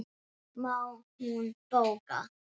Það má hún bóka.